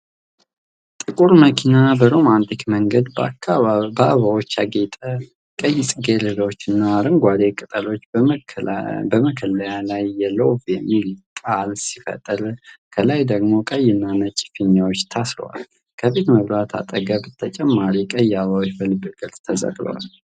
ጥቁር መኪና በሮማንቲክ መንገድ በአበባዎች ያጌጠ ። ቀይ ጽጌረዳዎችና አረንጓዴ ቅጠሎች በመከለያው ላይ የ"ሎቭ" የሚል ቃል ሲፈጥሩ፣ ከላይ ደግሞ ቀይና ነጭ ፊኛዎች ታስረዋል። ከፊት መብራቱ አጠገብ ተጨማሪ ቀይ አበባዎች በልብ ቅርጽ ተሰቅለዋል።